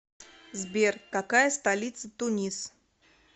сбер какая столица тунис